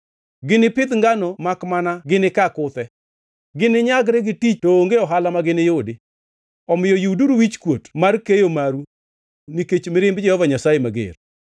Ginipidh ngano makmana ginikaa kuthe; gini nyagre gi tich to onge ohala ma giniyudi. Omiyo yuduru wichkuot mar keyo maru nikech mirimb Jehova Nyasaye mager.”